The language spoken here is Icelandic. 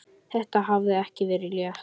Þetta hafði ekki verið létt.